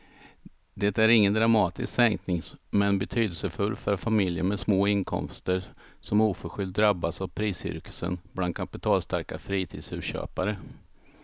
Det är ingen dramatisk sänkning men betydelsefull för familjer med små inkomster som oförskyllt drabbats av priscirkusen bland kapitalstarka fritidshusköpare.